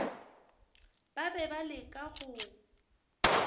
ba be ba leka go